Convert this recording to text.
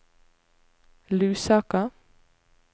Lusaka